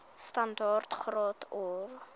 standaard graad or